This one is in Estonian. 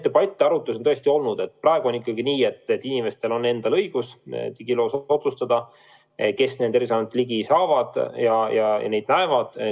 Jah, neid debatte-arutlusi on tõesti olnud ja praegu on ikkagi nii, et inimestel on õigus otsustada, kes digiloos nende andmetele ligi saab ja neid näeb.